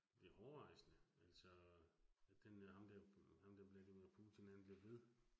Det hårrejsende. Altså den øh, ham dér, ham dér Vladimir Putin han bliver ved